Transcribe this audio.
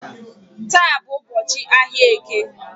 Taa bụ ụbọchị ahia eke